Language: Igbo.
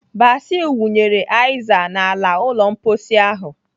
Basil wụnyere aizal n'ala ụlọ mposi ahụ.